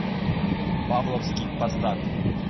павловский посад